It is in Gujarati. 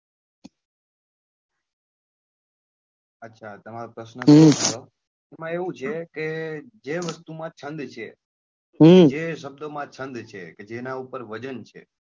અચ્છા તમારો પ્રશ્ન એ છે એમાં એવું છે કે જે વસ્તુ માં છંદ છે કે જે શબ્દો માં છંદ છે કે જેના ઉપર વજન છે.